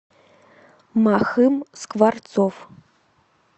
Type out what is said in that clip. махым скворцов